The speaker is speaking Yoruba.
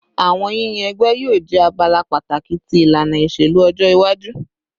Awọn yiyan ẹgbẹ yoo jẹ abala pataki ti ilana iṣelu ọjọ iwaju